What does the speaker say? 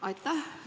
Aitäh!